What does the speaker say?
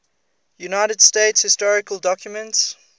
united states historical documents